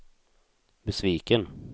besviken